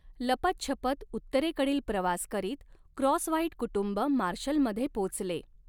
लपतछपत उत्तरेकडील प्रवास करीत क्रॉसव्हाइट कुटुंब मार्शलमध्ये पोचले.